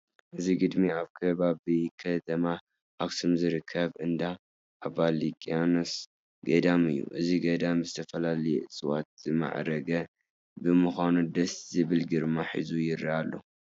እዚ ግድሚ ኣብ ከባቢ ከተማ ኣኽሱም ዝርከብ እንዳ ኣባ ሊቃኖስ ገዳም እዩ፡፡ እዚ ገዳም ብዝተፈላለዩ እፅዋት ዝማዕረገ ብምዃኑ ደስ ዝብል ግርማ ሒዙ ይርአ ኣሎ፡፡